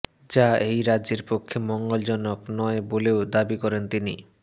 যা এই রাজ্যের পক্ষে মঙ্গল জনক নয় বলেও দাবি করেন তিনি